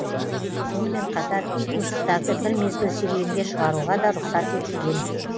сонымен қатар ит мысықтарды бір мезгіл серуенге шығаруға да рұқсат етілген